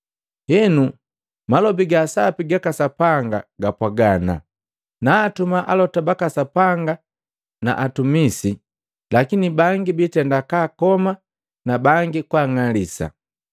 Henu malobi gasapi gaka Sapanga gapwaga ana, ‘Naatuma alota baka Sapanga na atumisi, lakini bangi biitenda kaakoma na bangi kwaang'alisa.’